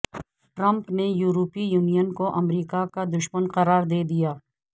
Trump نے یورپی union کو امریکہ کا دشمن قرار دے دیا